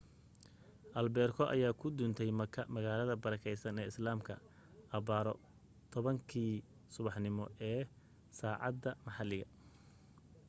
albeerko ayaa ku duntay makka magaalada barakaysan ee islaamka abbaaro 10 kii subaxnimo ee saacadda maxalliga